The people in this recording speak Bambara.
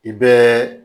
I bɛɛ